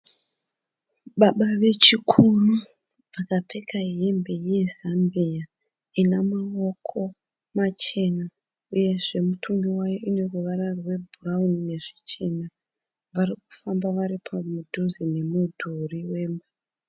Baba vechikuru vakapfeka hembe yezambiya ina maoko machena uyezve mutumbi wayo ine ruvara rwebhurauni nezvichena. Vari kufamba vari mudhuze nemudhuri wemba.